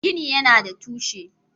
Gini yana da tushe.